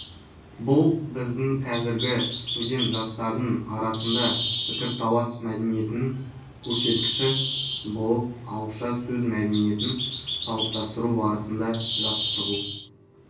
бұл біздің қазіргі студент-жастардың арасында пікірталас мәдениетінің көрсеткіші болып отыр ауызша сөз мәдениетін қалыптастыру барысында жаттығу